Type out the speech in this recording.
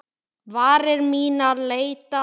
Varir mínar leita.